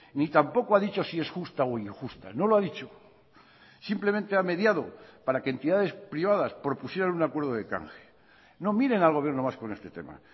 ni tampoco ha dicho si es justa o injusta no lo ha dicho simplemente ha mediado para que entidades privadas propusieran un acuerdo de canje no miren al gobierno vasco en este tema